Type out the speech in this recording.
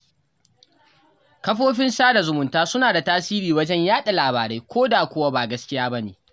Kafofin sada zumunta suna da tasiri wajen yaɗa labarai, ko da kuwa ba gaskiya ba ne.